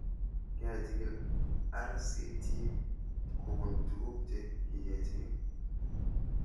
Kechig'il RCT kopun tuguk che kikechig'il